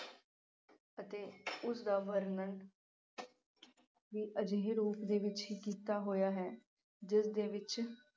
ਅਤੇ ਉਸ ਦਾ ਵਰਣਨ ਵੀ ਅਜਿਹੇ ਰੂਪ ਦੇ ਵਿਚ ਹੀ ਕੀਤਾ ਹੋਇਆ ਹੈ ਜਿਸ ਦੇ ਵਿਚ